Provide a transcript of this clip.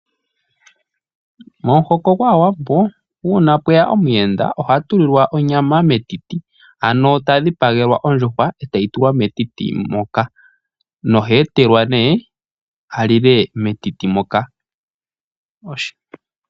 Momuhoko gwaa Wambo uuna pweya omu yenda oha tulilwa onyama metiti, ano ta dhipagelwa ondjuhwa etayi tulwa metiti moka nohee telwa nee alile metiti moka.